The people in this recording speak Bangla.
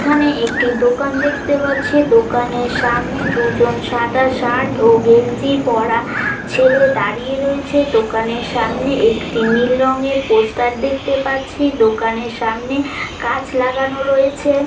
এখানে একটি দোকান দেখতে পাচ্ছি। দোকানের সামনে দুজন সাদা শার্ট ও গেঞ্জি পরা ছেলে দাঁড়িয়ে রয়েছে দোকানের সামনে একটি নীল রঙের পোস্টার দেখতে পাচ্ছি দোকানের সামনে গাছ লাগানো রয়েছে।